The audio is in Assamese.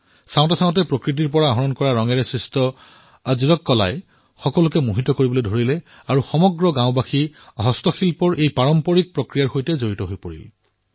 চাওতে চাওতে প্ৰাকৃতিক ৰঙৰ দ্বাৰা নিৰ্মিত আজৰক কলাই সকলোকে আকৰ্ষিত কৰিবলৈ ধৰিলে আৰু সমগ্ৰ গাঁৱেই এই হস্তশিল্পৰ সৈতে জড়িত হৈ পৰিল